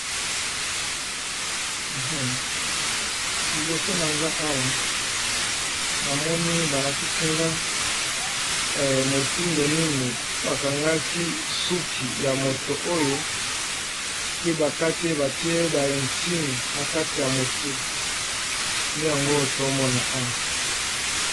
Liboso na nga awa namoni ba lakisi nga motindo nini ba kangaki suki ya moto oyo, pe ba kati ye batie ba insigne na kati ya motu nde yango oyo tomona awa.